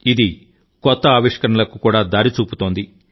ఇది కొత్త ఆవిష్కరణలకు కూడా దారి చూపుతోంది